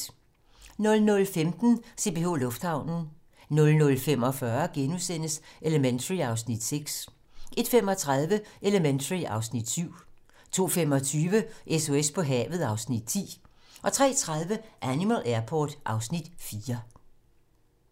00:15: CPH Lufthavnen 00:45: Elementary (Afs. 6)* 01:35: Elementary (Afs. 7) 02:25: SOS på havet (Afs. 10) 03:30: Animal Airport (Afs. 4)